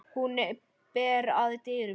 Hún ber að dyrum.